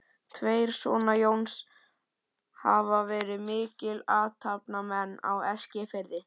Tveir sona Jóns hafa verið miklir athafnamenn á Eskifirði, þeir